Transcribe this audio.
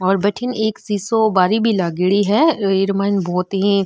और भटीन एक शिशु बारी भी लागेड़ी है येर मन बोहत ही --